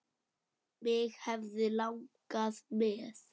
Mig hefði langað með.